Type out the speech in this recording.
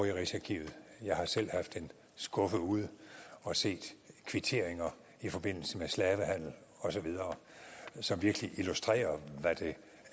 i rigsarkivet jeg har selv haft en skuffe ude og set kvitteringer i forbindelse med slavehandel osv som virkelig illustrerer hvad det